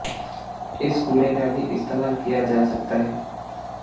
इस कूड़े का भी इस्तेमाल किया जा सकता है